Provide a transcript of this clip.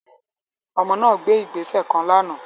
Ọmọ náà gbé ìgbésẹ kàn lànà